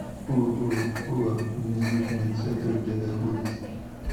ооо визит медцентр где находится